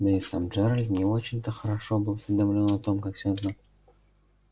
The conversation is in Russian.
да и сам джералд не очень-то хорошо был осведомлён о том как всё это